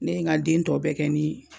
Ne ye n ka den tɔ bɛɛ kɛ ni